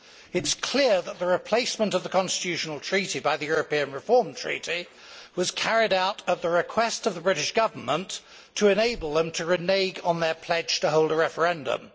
It is clear that the replacement of the Constitutional Treaty by the European Reform Treaty was carried out at the request of the British Government to enable them to renege on their pledge to hold a referendum.